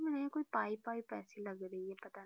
मुझे ये कुछ पाइप वाइप ऐसी लग रही हैं पाता नहीं।